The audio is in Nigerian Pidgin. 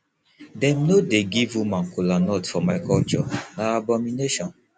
dem no dey give woman kolanut for my culture na abomination